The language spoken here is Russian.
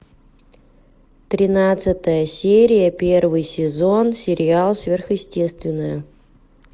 тринадцатая серия первый сезон сериал сверхъестественное